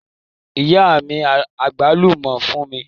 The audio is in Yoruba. Ìyá mi àgbálùmọ́ fún mi.